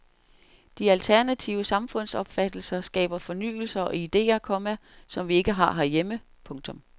De alternative samfundsopfattelser skaber fornyelser og idéer, komma som vi ikke har herhjemme. punktum